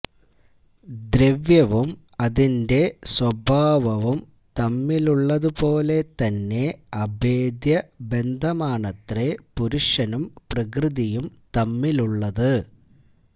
ദ്രവ്യവും അതിന്റെ സ്വഭാവവും തമ്മിലുള്ളതുപോലെ തന്നെ അഭേദ്യബന്ധമാണത്രേ പുരുഷനും പ്രകൃതിയും തമ്മിലുള്ളത്